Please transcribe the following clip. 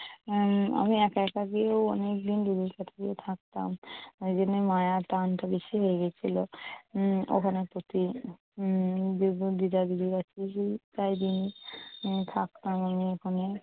উম আমি একা একা গিয়েও অনেক দিন দিদির কাছে গিয়ে থাকতাম। ওই জন্যই মায়ার টান টা বেশি হয়ে গিয়েছিল। উম ওখানের প্রতি উম দিদা-দিদির প্রায়দিনই থাকতাম আমি ওখানে।